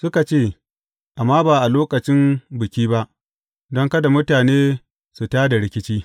Suka ce, Amma ba a lokacin Biki ba, don kada mutane su tā da rikici.